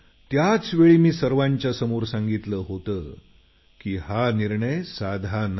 त्याचवेळी मी सर्वांच्यासमोर सांगितलं होतं की हा निर्णय साधा नाही